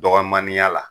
Dɔgɔninya la